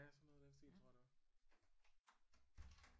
Ja sådan noget i den stil tror jeg det var